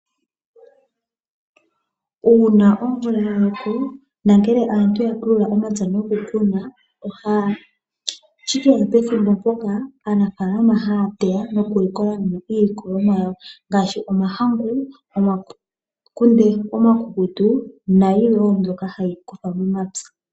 Uuna omvula yaloko, nongele aantu yapulula omapya nokukuna, ohashikeya pethimbo mpoka aanafalama haya teya noku likolamo iilikolomwa yawo, ngaashi omahangu, omakunde omakukutu, nayilwe mbyoka hayi kuthwa momapya.